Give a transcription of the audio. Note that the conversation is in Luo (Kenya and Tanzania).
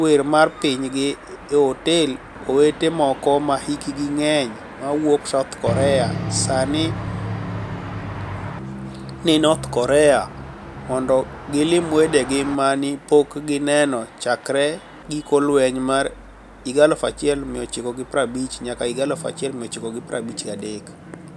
wer mar piniygi e otel Owete moko ma hikgi nig'eniy ma wuok South Korea sanii nii north Korea monido gilim wedegi ma ni e pok gini eno chakre giko lweniy mar 1950-1953.